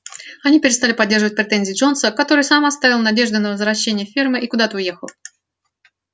они перестали поддерживать претензии джонса который сам оставил надежды на возвращение фермы и куда-то уехал